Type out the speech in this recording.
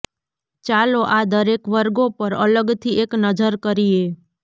ચાલો આ દરેક વર્ગો પર અલગથી એક નજર કરીએ